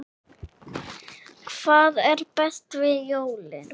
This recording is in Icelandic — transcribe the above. Hvað er best við jólin?